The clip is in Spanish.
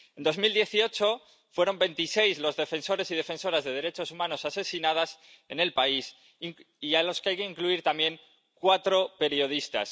En 2018 fueron veintiséis los defensores y defensoras de derechos humanos asesinados en el país, a los que hay que añadir también cuatro periodistas.